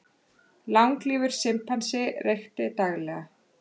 Langlífur simpansi reykti daglega